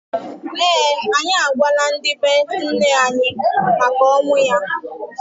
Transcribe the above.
ee, anyị agwala ndị be nne anyi maka ọnwụ ya.